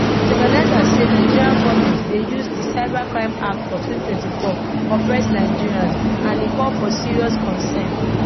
di organisers say nigerian goment dey use di cybercrime act of 2024 oppress nigerians and e call for serious concern